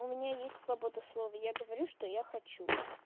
у меня есть свобода слова я говорю что я хочу